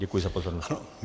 Děkuji za pozornost.